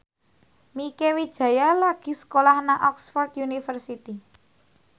Mieke Wijaya lagi sekolah nang Oxford university